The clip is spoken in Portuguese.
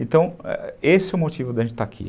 Então, esse é o motivo da gente estar aqui.